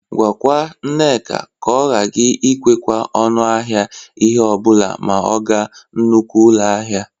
Gwakwa Nneka na ọ gaghị ekwekwa ọnụ ahịa ihe ọ bụla ma ọ ga nnukwu ụlọ ahịa.